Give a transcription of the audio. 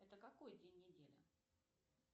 это какой день недели